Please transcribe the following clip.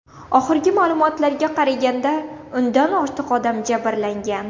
Oxirgi ma’lumotlarga qaraganda, o‘ndan ortiq odam jabrlangan.